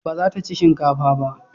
Ba za ta ci shinkafa ba?